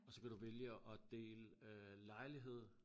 Og så kan du vælge at dele lejlighed